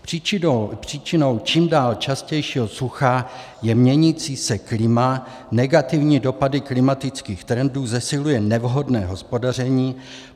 Příčinou čím dál častějšího sucha je měnící se klima, negativní dopady klimatických trendů zesiluje nevhodné hospodaření.